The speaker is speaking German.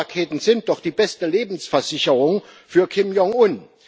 Die Atomraketen sind doch die beste Lebensversicherung für Kim Jong-un.